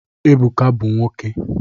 Ebuka bu nwoke